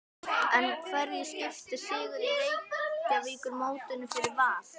En hverju skiptir sigur í Reykjavíkurmótinu fyrir Val?